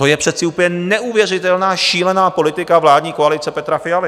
To je přece úplně neuvěřitelná, šílená politika vládní koalice Petra Fialy.